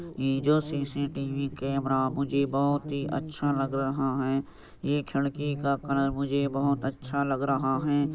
ये जो CCTV. Camera मुझे बहुत ही अच्छा लग रहा हैं। ये खिड़की का कलर मुझे बहुत अच्छा लग रहा हैं ।